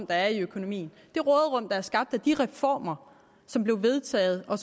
der er i økonomien det råderum der er skabt af de reformer som blev vedtaget og